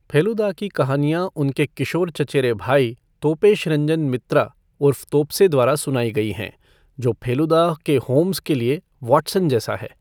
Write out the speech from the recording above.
फेलुदा की कहानियां उनके किशोर चचेरे भाई तोपेश रंजन मित्रा उर्फ तोप्से द्वारा सुनाई गई हैं, जो फेलुदा के होम्स के लिए वाटसन जैसा है।